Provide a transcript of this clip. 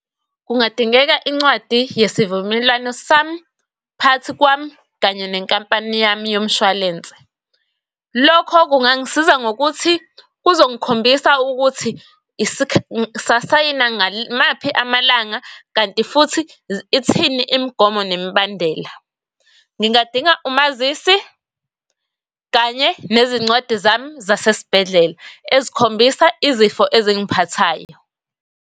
Kungadingeka incwadi yesivumelwano sami phakathi kwami kanye nenkampani yami yomshwalense. Lokho kungangisiza ngokuthi, kuzongikhombisa ukuthi yimaphi amalanga, kanti futhi ithini imigomo nemibandela. Ngingadinga umazisi kanye nezincwadi zami zasesibhedlela ezikhombisa izifo ezingiphathayo.